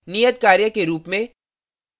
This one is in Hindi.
नियतकार्य के रूप में